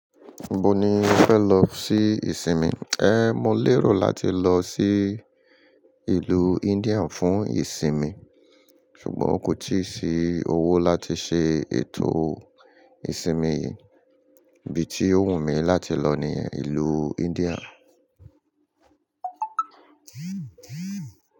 Ibo ni o fẹ lọ sí ìsinmi? Ẹ́, mo lérò láti lọ sí ìlú India fún ìsinmi ṣùgbọ́n kò tíì sí owó láti ṣe ètò ìsinmi yìí. Ibi tí ó wù mí láti lọ ni ìlú India.